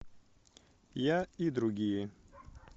я и другие